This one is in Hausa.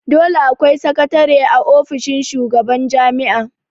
Dole akwai sakatare a ofishin shugaban jami'a